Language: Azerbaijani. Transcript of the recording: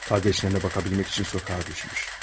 Qardaşlarına baxa bilmək üçün küçəyə düşüb.